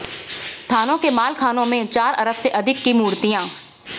थानों के मालखानों में चार अरब से अधिक के मूर्तियां